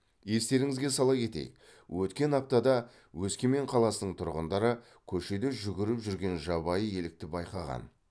естеріңізге сала кетейік өткен аптада өскемен қаласының тұрғындары көшеде жүгіріп жүрген жабайы елікті байқаған